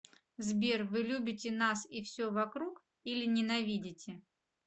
сбер вы любите нас и все вокруг или ненавидите